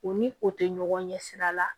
U ni o tɛ ɲɔgɔn ɲɛ sira la